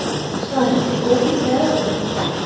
Snær, er opið í Melabúðinni?